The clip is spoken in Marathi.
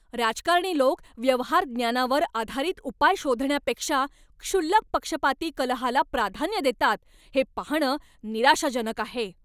राजकारणी लोक व्यवहार ज्ञानावर आधारित उपाय शोधण्यापेक्षा क्षुल्लक पक्षपाती कलहाला प्राधान्य देतात हे पाहणं निराशाजनक आहे.